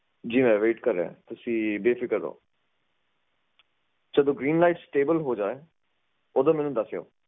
ਜੀ ਮੈਂ ਵੇਟ ਕਰ ਰਿਹਾ ਤੁਸੀਂ ਬੇਫਿਕਰ ਰਹੋ ਜਦੋ ਗ੍ਰੀਨ ਲਾਈਟ ਸਟੇਬਲ ਹੋ ਜਾਏ ਓਦੋ ਮੈਨੂੰ ਦੱਸਿਓ